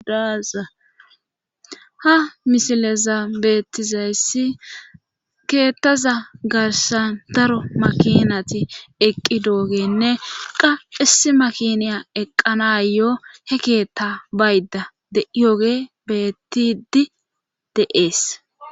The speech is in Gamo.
dazaha mishileza beettizayssi keettaza garsan daro makinati eqqi doogenne qa issi makiniya eqqanayoo he keetta bayda dyoge bettidi deees